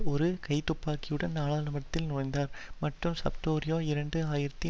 ஒரு கைத்துப்பாக்கியுடன் நாடாளுமன்றத்தில் நுழைந்தார் மற்றும் சப்பட்டிரோ இரண்டு ஆயிரத்தி